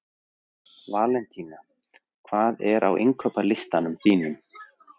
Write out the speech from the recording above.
Valentína, hvað er á innkaupalistanum mínum?